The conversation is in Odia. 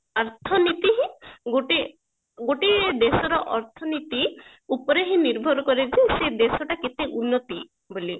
ଅର୍ଥନୀତି ହିଁ ଗୋଟେ ଗୋଟିଏ ଦେଶର ଅର୍ଥନୀତି ଉପରେ ହିଁ ନିର୍ଭର କରେ ଯେ ସେ ଦେଶଟା କେତେ ଉନ୍ନତି ବୋଲି